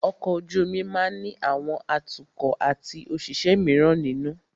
Ọkọ̀ ojú omi máà ní àwọn atukọ̀ atí àwọn òṣìṣẹ́ míràn nínú.